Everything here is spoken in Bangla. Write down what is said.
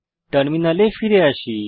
টার্মিনালে ফিরে আসি